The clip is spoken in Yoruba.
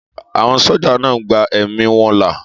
Àwọn sójà náà gba ẹ̀mí wọn là